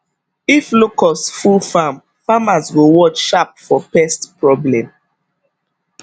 if locust full farm farmers go watch sharp for pest problem